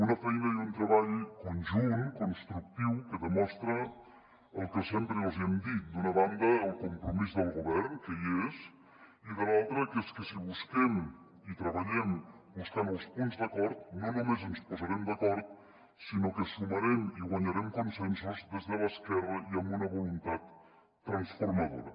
una feina i un treball conjunt constructiu que demostra el que sempre els hi hem dit d’una banda el compromís del govern que hi és i de l’altra que és que si busquem i treballem buscant els punts d’acord no només ens posarem d’acord sinó que sumarem i guanyarem con·sensos des de l’esquerra i amb una voluntat transformadora